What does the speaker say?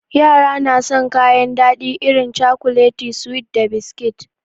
Yara na san kayan daɗi irin cakulet, suwi da biskit.